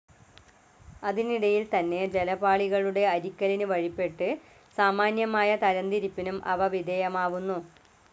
അതിനിടയിൽത്തന്നെ ജലപാളികളുടെ അരിക്കലിനു വഴിപ്പെട്ട് സാമാന്യമായ തരംതിരിപ്പിനും അവ വിധേയമാവുന്നു.